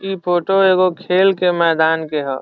इ फोटो एगो खेल के मैदान के ह।